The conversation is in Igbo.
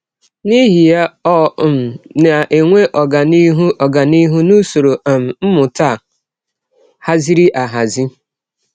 N’ihi ya, ọ um na - enwe ọganihụ ọganihụ n’usọrọ um mmụta a hazịrị ahazi.